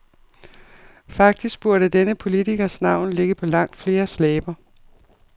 Faktisk burde denne politikers navn ligge på langt fleres læber.